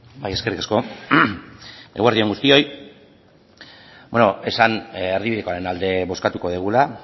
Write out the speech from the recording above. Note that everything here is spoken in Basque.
bai eskerrik asko eguerdi on guztioi bueno esan erdibidekoaren alde bozkatuko dugula